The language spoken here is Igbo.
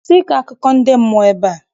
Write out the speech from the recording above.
Kwụsị ịkọ akụkọ ndị mmụọ ebea!